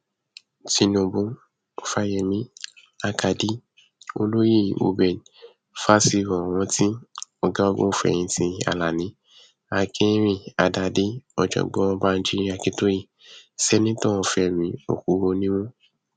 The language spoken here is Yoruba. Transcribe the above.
tinubu fáyemí àkàdé olóyè reuben fásiròrántì ọgágunfẹyìntì alani akinrinádádé ọjọgbọn banji akíntóye sẹnitọ fẹmí òkúrònímù